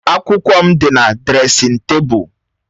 Akwụkwọ m dị na dresịn tebụl.